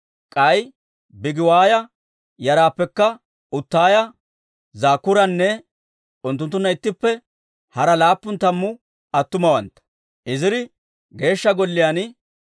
K'ay Bigiwaaya yaraappekka Utaaya, Zakkuuranne unttunttunna ittippe hara laappun tammu attumawantta.